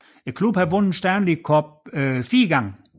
Klubben har vundet Stanley Cuppen 4 gange